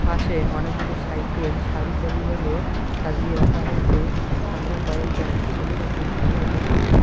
পাশে অনেকগুলি সাইকেল সারি সারিভাবে সাজিয়ে রাখা হয়েসে সামনে কয়েকজন ছেলে ও পুরুষকেও দেখা যাচ্ছে।